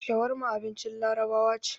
Shawarma abincin Larabawa ce.